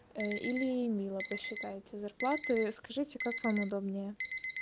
или эмила посчитайте зарплаты скажите как вам удобнее